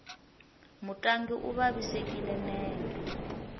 mutlangi u vavisekile nenge